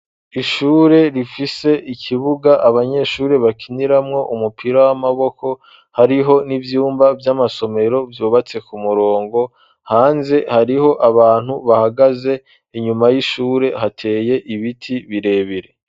ishure rifise ikibuga abanyeshuri bakiniramwo umupira w'amaboko , hariho n'ivyumba vy'amasomero vyubatse ku murongo , hanze hariho abantu bahagaze , inyuma y'ishure hateye ibiti birebire..